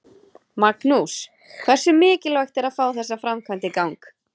Magnús: Hversu mikilvægt er að fá þessa framkvæmd í gang?